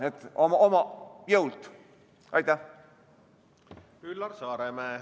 Üllar Saaremäe, palun!